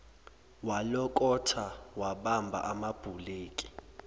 walokotha wabamba amabhuleki